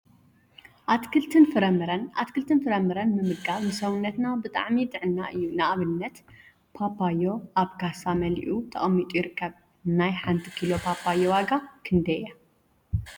አትክልቲን ፍራፍረን አትክልቲ ፍራፍረን ምምጋብ ንሰውነትና ብጣዕሚ ጥዕና እዩ፡፡ ንአብነት ፓፓዮ አብ ካሳ መሊኡ ተቀሚጡ ይርከብ፡፡ ናይ ሓንቲ ኪሎ ፓፓዮ ዋጋ ክንደይ እያ?